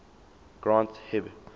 granth hib